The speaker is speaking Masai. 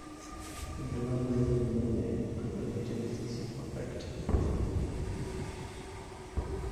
Ibulabul lemoyian e amelogenesis imperfecta?